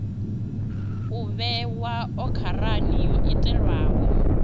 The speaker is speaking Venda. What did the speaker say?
u vhewa okharani yo itelwaho